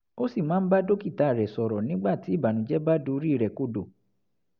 ó sì máa ń bá dókítà rẹ̀ sọ̀rọ̀ nígbà tí ìbànújẹ́ bá dorí rẹ̀ kodò